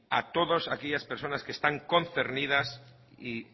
a todas aquellas personas que están concernidas y